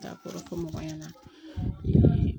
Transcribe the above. Dakɔrɔ fɔ mɔgɔ ɲɛna